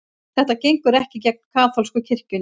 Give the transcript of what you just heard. Þetta gengur ekki gegn kaþólsku kirkjunni